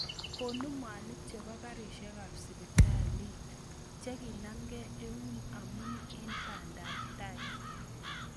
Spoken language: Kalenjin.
Konu mwaniik chebo kariisiekaab sibitalli chekonamkei ewuun amun eng bandaab tai